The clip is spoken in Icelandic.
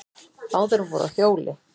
Báðar voru á hjóli.